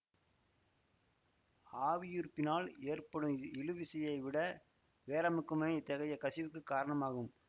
ஆவியுருப்பினால் ஏற்படும் இழுவிசையை விட வேரமுக்கமே இத்தகைய கசிவுக்குக் காரணமாகும்